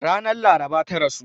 Ranar laraba ta rasu.